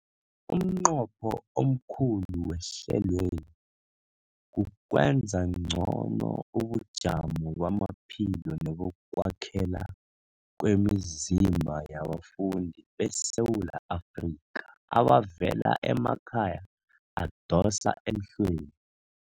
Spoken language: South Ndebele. Umnqopho omkhulu wehlelweli kukwenza ngcono ubujamo bamaphilo nebokwakhela kwemizimba yabafundi beSewula Afrika abavela emakhaya adosa emhlweni.